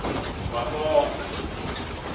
kwabongwe